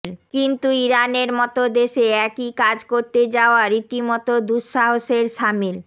কিন্তু ইরানের মতো দেশে একই কাজ করতে যাওয়া রীতিমতো দুঃসাহসের শামিল